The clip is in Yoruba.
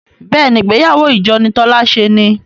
béèni ìgbéyàwó ìjọ ni Tola ṣe ní.